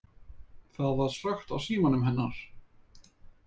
Það var slökkt á símanum hennar.